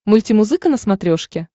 мультимузыка на смотрешке